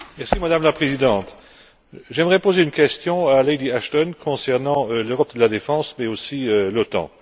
Madame la Présidente, j'aimerais poser une question à Lady Ashton concernant l'Europe de la défense mais aussi l'OTAN.